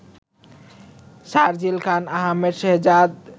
Sharjeel Khan, Ahmed Shehzad